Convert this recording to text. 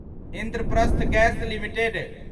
Indraprastha gas limited